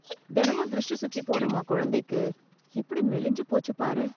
தினமும் திருஷ்டி சுத்திப் போடும்மா குழந்தைக்கு, எப்படி மெலிஞ்சு போச்சு பாரு.